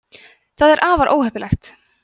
það er afar óheppilegt